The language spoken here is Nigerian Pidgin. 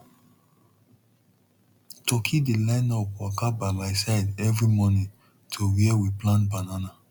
turkey dey line up waka by my side every morning to where we plant banana